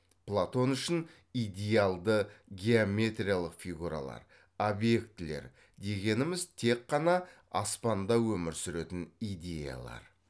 платон үшін идеалды геометриялық фигуралар объектілер дегеніміз тек қана аспанда өмір сүретін идеялар